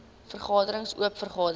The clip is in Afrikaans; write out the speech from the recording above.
vergaderings oop vergaderings